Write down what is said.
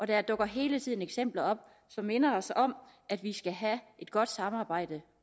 der dukker hele tiden eksempler op som minder os om at vi skal have et godt samarbejde